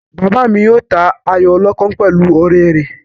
Bàbá mi yóò ta ayò ọlọ́pọ́n pẹ̀lú ọ̀rẹ́ rẹ̀